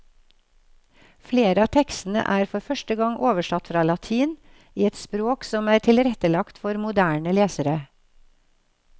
Flere av tekstene er for første gang oversatt fra latin, i et språk som er tilrettelagt for moderne lesere.